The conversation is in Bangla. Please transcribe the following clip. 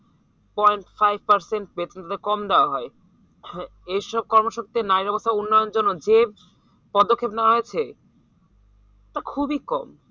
Point five percent বেতনটা কম দেওয়া হয় এইসব কর্মশক্তি নাইবা কোথাও উন্নয়নের জন্য যে পদক্ষেপ নেওয়া হয়েছে তা খুবই কম